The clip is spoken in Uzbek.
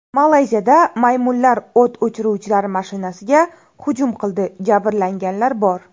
Malayziyada maymunlar o‘t o‘chiruvchilar mashinasiga hujum qildi, jabrlanganlar bor.